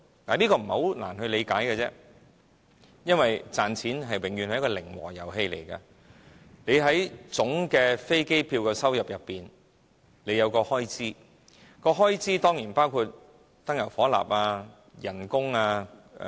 這不太難理解，因為賺錢永遠是一個零和遊戲，總飛機票的收入裏包含有很多項開支，這當然包括燃油、職員工資等。